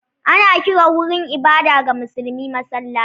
Ana kiran wurin ibada ga musulmi masallaci.